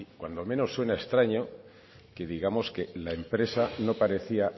cuando menos suena extraño que digamos que la empresa no parecía